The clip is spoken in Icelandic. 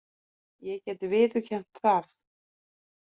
Ég get viðurkennt það.